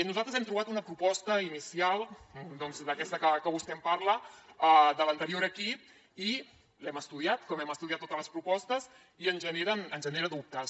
nosaltres hem trobat una proposta inicial doncs d’aquesta que vostè em parla de l’anterior equip i l’hem estudiat com hem estudiat totes les propostes i ens genera dubtes